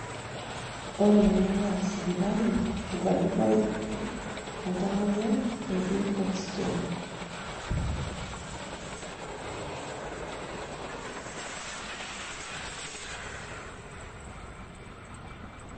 ore ene naa sipitali, obakitae oltamoyiai otii oxygen.